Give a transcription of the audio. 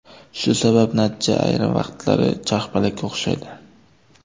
Shu sabab natija ayrim vaqtlari charxpalakka o‘xshaydi.